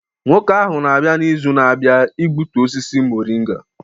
Nwoke ahụ ga-abịa n'izu na-abịa igbutu osisi moringa.